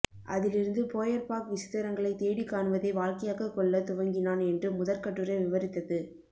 அதிலிருந்து போயர்பாக் விசித்திரங்களைத் தேடி காணுவதை வாழ்க்கையாகக் கொள்ளத் துவங்கினான் என்று முதற்கட்டுரை விவரித்தது